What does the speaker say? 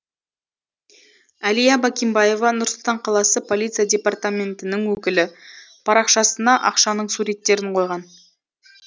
әлия бакимбаева нұр сұлтан қаласы полиция департаментінің өкілі парақшасына ақшаның суреттерін қойған